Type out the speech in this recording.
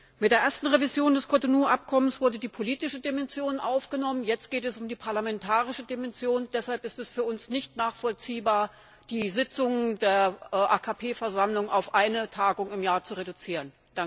Bei der ersten Revision des Cotonou Abkommens wurde die politische Dimension aufgenommen, jetzt geht es um die parlamentarische Dimension, deshalb ist es für uns nicht nachvollziehbar, die Sitzung der AKP Versammlung auf eine Tagung im Jahr zu reduzieren.